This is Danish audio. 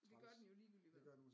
Det gør den jo ligegyldigt hvad